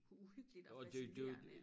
Uhyggeligt og fascinerende